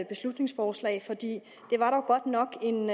beslutningsforslag for det var dog godt nok en